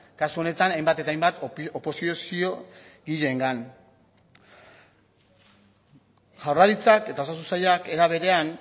kasu honetan hainbat eta hainbat oposiziogileengan jaurlaritzak eta osasun sailak era berean